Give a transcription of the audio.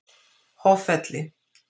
Hoffelli